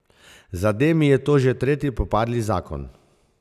Za Demi je to že tretji propadli zakon.